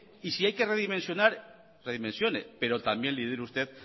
y si hay que redimensionar redimensione pero también lidere usted